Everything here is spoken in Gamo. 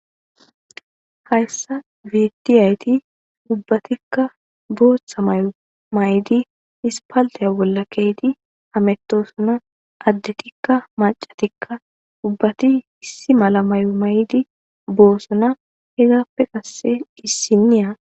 Hayssani betiya eti ubbatima boththa mayo mayidi isifalitiya bolla kiyidi hamatosona addetika macatika ubbati issi mala mayuwa mayidi bosona hegapeka qasi issiniya